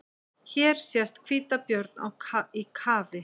Hér sést hvítabjörn í kafi.